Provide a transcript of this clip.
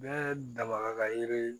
Bɛɛ daba ka yiri